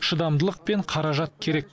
шыдамдылық пен қаражат керек